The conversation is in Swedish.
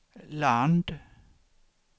land